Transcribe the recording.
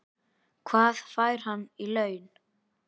Hvað fær hann í laun?